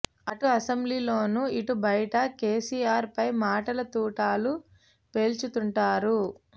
అటు అసెంబ్లీలోనూ ఇటు బయటా కేసీఆర్ పై మాటల తూటాలు పేల్చుతుంటారు